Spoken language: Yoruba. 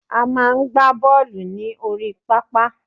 A máa ń gbà bọọlu ní orí pápá